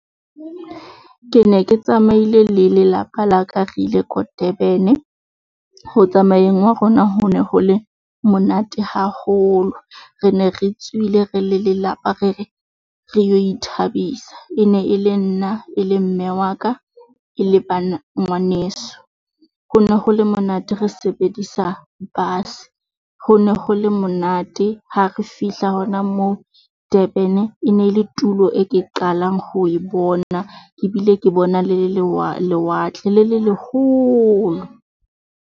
Ke ne ke tsamaile le lelapa la ka re ile ko Durban. Ho tsamayeng hwa rona ho ne ho le monate haholo. Re ne re tsohile re le lelapa re re re yo ithabisa e ne e le nna e le mme wa ka e le ngwaneso. ho no ho le monate re sebedisa bus-e, ho ne ho le monate, ha re fihla hona moo Durban e ne le tulo e ke qalang ho e bona ebile ke bona le lewatle le le leholo.